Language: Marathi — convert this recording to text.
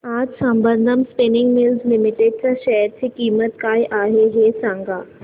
आज संबंधम स्पिनिंग मिल्स लिमिटेड च्या शेअर ची किंमत काय आहे हे सांगा